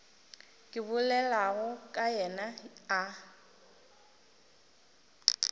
ke bolelago ka yena a